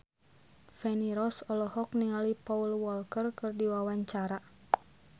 Feni Rose olohok ningali Paul Walker keur diwawancara